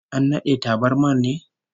An nade tabarmar ne?